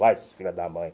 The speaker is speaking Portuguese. Vai, filho da mãe.